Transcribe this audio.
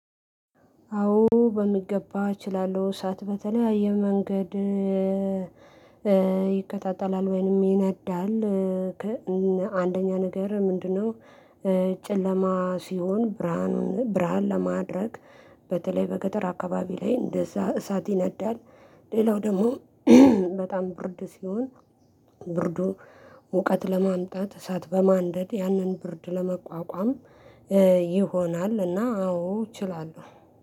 አዎ በሚገባ እችላለሁ እሳት በተለያየ መንገድ ይከታተላል ወይንም ይነዳል። አንደኛ ነገር ምንድነው? ጨለማ ሲሆን ብርሃን ብርሃን ለማድረግ በተለይ በገጠር አካባቢ ላይ እንደዛ እሳት ይነዳል። ሌላው ደግሞ በጣም ብርድ ሲሆን ብርዱ ሙቀት ለማምጣት እሳት በማንደድ ያንን ብርድ ለመቋቋም ይሆናል። እና አዎ እችላለሁ